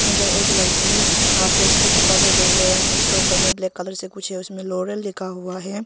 उधर एक लड़की आ फेस को छुपा के देख रहे हैं उसके ऊपर में ब्लैक कलर से कुछ है उसमें लोरियल लिखा हुआ है।